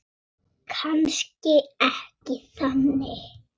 Kannski ekki þannig.